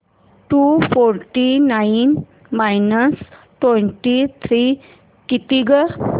to forty nine minus twenty three किती गं